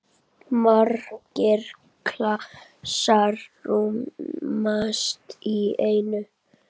Margir klasar rúmast í einni.